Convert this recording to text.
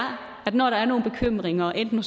når der er nogle bekymringer enten